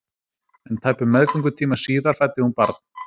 En tæpum meðgöngutíma síðar fæddi hún barn.